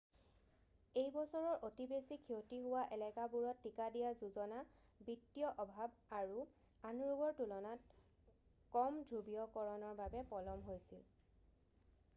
এইবছৰৰ অতি বেছি ক্ষতি হোৱা এলেকাবোৰত টীকা দিয়া যোজনা বিত্তীয় অভাৱ আৰু আন ৰোগৰ তুলনাত কম ধ্ৰুৱীয়কৰণৰ বাবে পলম হৈছিল